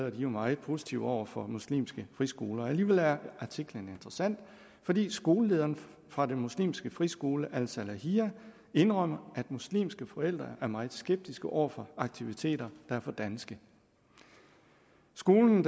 er jo meget positive over for muslimske friskoler alligevel er artiklen interessant fordi skolelederen fra den muslimske friskole al salahiyah indrømmer at muslimske forældre er meget skeptiske over for aktiviteter der er for danske skolen